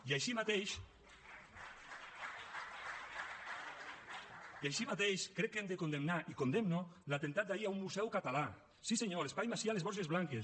i així mateix crec que hem de condemnar i el condemno l’atemptat d’ahir a un museu català sí senyor l’espai macià a les borges blanques